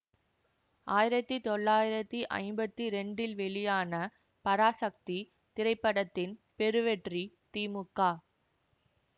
ஆயிரத்தி தொள்ளாயிரத்தி ஐம்பத்தி இரண்டில் வெளியான பராசக்தி திரைப்படத்தின் பெருவெற்றி தி மு க